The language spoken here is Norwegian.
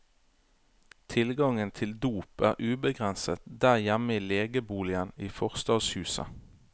Tilgangen til dop er ubegrenset der hjemme i legeboligen i forstadshuset.